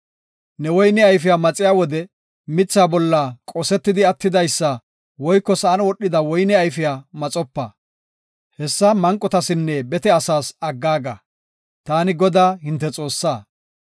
Ne woyne ayfiya maxiya wode mithaa bolla qosetidi attidaysa woyko sa7an wodhida woyne ayfiya maxopa. Hessa manqotasinne bete asaas aggaaga. Taani Godaa, hinte Xoossaa.